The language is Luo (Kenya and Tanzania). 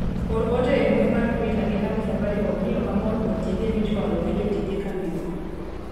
or ote e mbui mar twita ne kambi Safarikom ni ok amor kod tije michwalo gi jotije kambino